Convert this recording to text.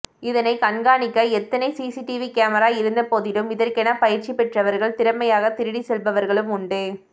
இதனை கண்காணிக்க எத்தனை சிசிடிவி கேமரா இருந்தபோதிலும் இதற்கென பயிற்சி பெற்றவர்கள் திறமையாக திருடி செல்பவர்களும் உண்டு